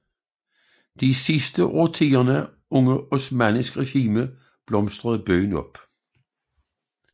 De sidste årtier under osmannisk regime blomstrede byen op